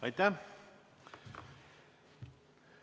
Aitäh!